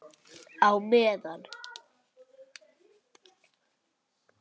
Á meðan